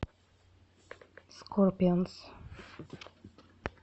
скорпионс